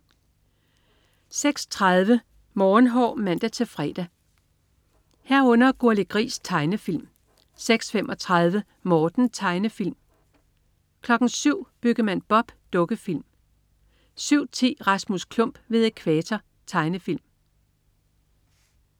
06.30 Morgenhår (man-fre) 06.30 Gurli Gris. Tegnefilm (man-fre) 06.35 Morten. Tegnefilm (man-fre) 07.00 Byggemand Bob. Dukkefilm (man-fre) 07.10 Rasmus Klump ved Ækvator. Tegnefilm